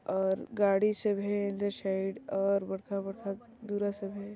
और गाड़ी सब हे अंदर साइड और बड़का बड़का दूरा सब हे।